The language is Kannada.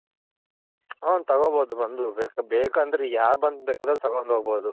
ಹ್ಮ್ ತಗೊನ್ ಬೋದು ಬಂದು ಬೇಕಂದ್ರೆ ಯಾರ್ ಬೇಕಂದ್ರೂ ಬಂದ್ ತಗೊಂಡ್ ಹೋಗ್ಬೋದು.